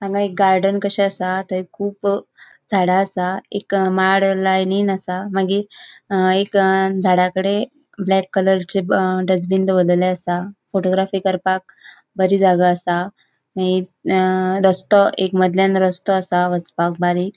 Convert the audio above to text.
हान्गा एक गार्डन कशे आसा थंय खुब झाडा आसा एक माड लायनिन आसा मागिर एक झाडाकड़े ब्लैक कलरचे ब अ डस्ट्बिन दोवोरलेले आसा फोटोग्राफी करपाक बरी जागा आसा मागिर अ रस्तो एक मदल्यान रस्तो आसा वचपाक बारीक.